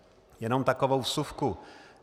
Jenom takovou vsuvku.